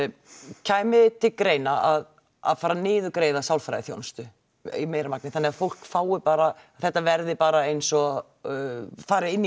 kæmi til grein að að fara niðurgreiða sálfræðiþjónustu þannig að fólk fái bara þetta verði bara eins og fari inn í